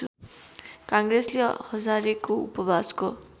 काङ्ग्रेसले हजारेको उपवासको